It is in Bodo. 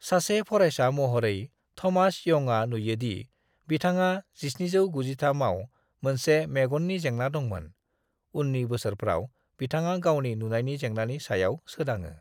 "सासे फरायसा महरै, थमास यंगआ नुयो दि बिथांहा 1793 आव मोनसे मेगननि जेंना दंमोन। उननि बोसोरफ्राव बिथाङा गावनि नुनायनि जेंनानि सायाव सोदाङो।"